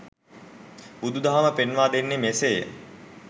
බුදු දහම පෙන්වා දෙන්නේ මෙසේය.